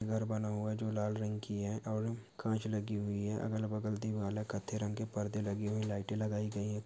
घर बना हुआ है जो लाल रंग की है और कांच लगी हुई है अगल-बगल दीवाल है कत्थे रंग के पर्दे लगाए है लाइटें लगाई गई है।